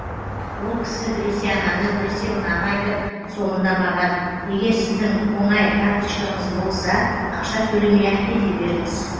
ол кісі біресе ананы біресе мынаны айтып соңында маған егер сіздің оңай карточкаңыз болса ақша төлемей ақ кете беріңіз